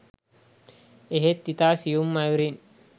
එහෙත් ඉතා සියුම් අයුරින්